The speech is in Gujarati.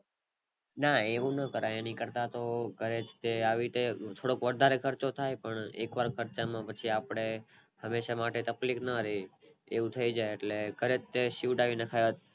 ના એવું નો કરાય એની કરતા તો ઘરે થોડોક વધારે ખર્ચો થાય પણ એક જ ખર્ચા માં પછી આપણે હંમેશા માટે આપડે તકલીફ નો રેય એવું થઈ જય એટલે ઘરે તે સિવડાવી નખાય